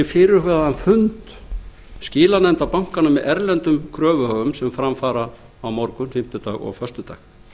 fyrir fyrirhugaðan fund skilanefnda bankanna með erlendum kröfuhöfum sem fram fara á morgun fimmtudag og föstudag